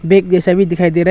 Bag जैसा भी दिखाई दे रहा है।